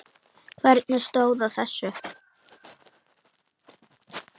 Hvernig stóð á þessu?